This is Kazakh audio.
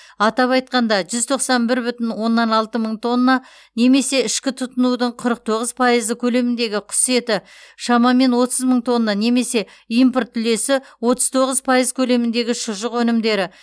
атап айтқанда жүз тоқсан бір бүтін оннан алты мың тонна немесе ішкі тұтынудың қырық тоғыз пайызы көлеміндегі құс еті шамамен отыз мың тонна немесе импорт үлесі отыз тоғыз пайыз көлеміндегі шұжық өнімдері